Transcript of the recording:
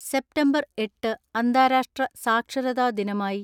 September എട്ട് അന്താരാഷ്ട്ര സാക്ഷരതാ ദിനമായി